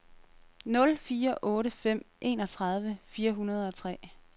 nul fire otte fem enogtredive fire hundrede og tre